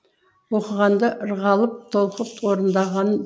оқығанда ырғалып толқып орындаған